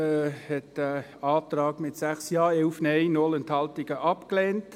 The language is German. Die GSoK-Mehrheit hat diesen Antrag mit 6 Ja, 11 Nein, 0 Enthaltungen abgelehnt.